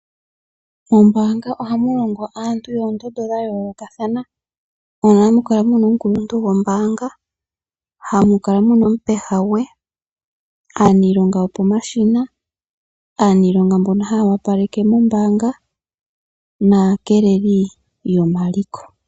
Mombaanga ohamu longo aantu yoondondo dha yoolokathana. Ohamu kala omukuluntu gombaanga, ha mu kala muna omupeha gwe, aalongi yopomashina , aaniilonga yoku opaleka mombaanga naakeeleli yomaliko.